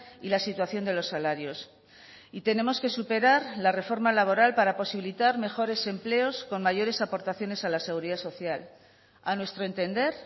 y la situación de los salarios y tenemos que superar la reforma laboral para posibilitar mejores empleos con mayores aportaciones a la seguridad social a nuestro entender